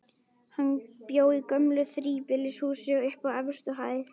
Hann bjó í gömlu þríbýlishúsi, uppi á efstu hæð.